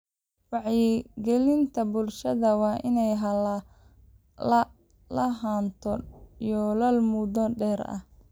Wacyigelinta bulshada waa inay lahaato yoolal muddo dheer ah.